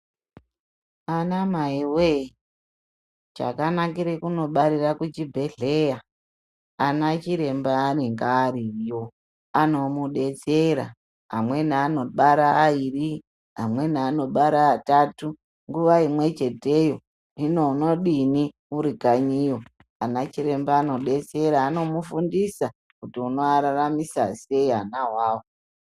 Anamai we chanakira kunobarire kuchibhedhlera vanachiremba anenge ariyo ano mudetsera amweni anobara aviri amweni atatu nguva imwechete hino unodini uri kanyiyo ana chiremba ano detsera ano mufundisa kuti uno vararamisa sei vana avavo.